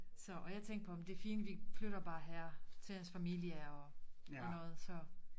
Så og jeg tænkte på jamen det fint vi flytter bare her til hans familie og noget så